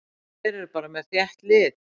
Þeir eru bara með þétt lið.